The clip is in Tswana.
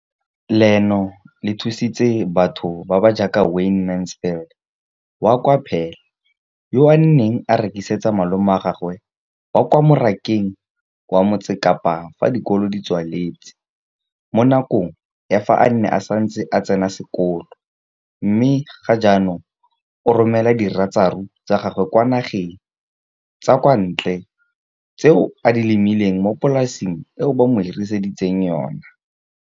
leno le thusitse batho ba ba jaaka Wayne Mansfield, 33, wa kwa Paarl, yo a neng a rekisetsa malomagwe kwa Marakeng wa Motsekapa fa dikolo di tswaletse, mo nakong ya fa a ne a santse a tsena sekolo, mme ga jaanong o romela diratsuru tsa gagwe kwa dinageng tsa kwa ntle tseo a di lemileng mo polaseng eo ba mo hiriseditseng yona.